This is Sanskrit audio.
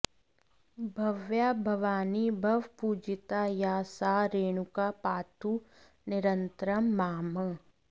भव्या भवानी भवपूजिता या सा रेणुका पातु निरन्तरं माम्